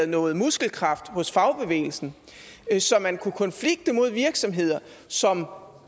noget muskelkraft hos fagbevægelsen så man kunne konflikte mod virksomheder som